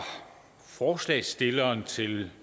forslagsstilleren til